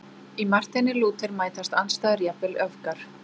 Í Marteini Lúther mætast andstæður, jafnvel öfgar.